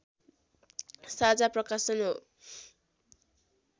साझा प्रकाशन हो